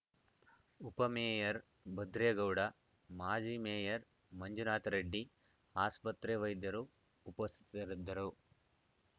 ಉಪಮೇಯರ್‌ ಭದ್ರೇಗೌಡ ಮಾಜಿ ಮೇಯರ್‌ ಮಂಜುನಾಥ ರೆಡ್ಡಿ ಆಸ್ಪತ್ರೆ ವೈದ್ಯರು ಉಪಸ್ಥಿತರಿದ್ದರು